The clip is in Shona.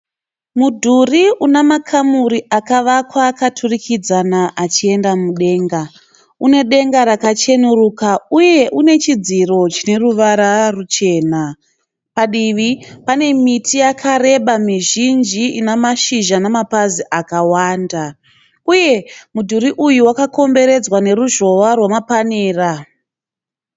Mudhuri una makamuri akavakwa akaturikidzana achienda mudenga. Une denga rakachenuruka uye une chidziro chine ruvara ruchena. Padivi pane miti yakareba mizhinji ina mashizha namapazi akawanda uye mudhuri uyu wakakomberedzwa neruzhowa rwamapanera.